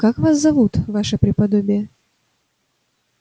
как вас зовут ваше преподобие